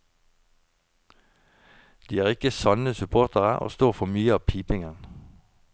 De er ikke sanne supportere og står for mye av pipingen.